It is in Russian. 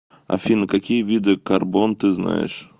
афина какие виды карбон ты знаешь